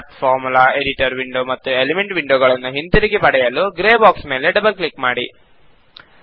Math formula editor window ಮತ್ತು element window ಗಳನ್ನು ಹಿಂತಿರುಗಿ ಪಡೆಯಲು ಗ್ರೇ ಬಾಕ್ಸ್ ಮೇಲೆ ಡಬಲ್ ಕ್ಲಿಕ್ ಮಾಡಿ